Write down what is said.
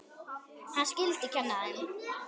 Hann skyldi kenna þeim.